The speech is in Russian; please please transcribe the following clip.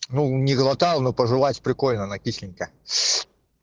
ну не глотал но пожевать прикольно она кисленькая